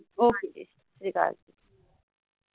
ਓ ਕੇ ਜੀ। ਸਤਿ ਸ਼੍ਰੀਅਕਾਲ।